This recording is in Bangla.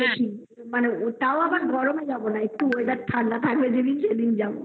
ওটার তাও আবার গরম এ না একটু weather ঠান্ডা হয় সেইদিন যাবো